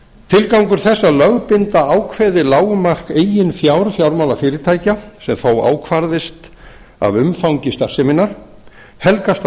tilgangur þess að lögbinda ákveðið lágmark eigin fjár fjármálafyrirtækja sem þó ákvarðist af umfangi starfseminnar helgast af